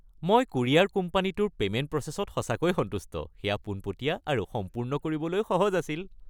মই কুৰিয়াৰ কোম্পানীটোৰ পে'মেন্ট প্ৰচেছত সঁচাকৈয়ে সন্তুষ্ট। সেয়া পোনপটীয়া আৰু সম্পূৰ্ণ কৰিবলৈ সহজ আছিল।